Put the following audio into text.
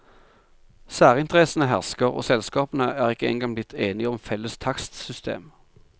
Særinteressene hersker, og selskapene er ikke engang blitt enige om felles takstsystem.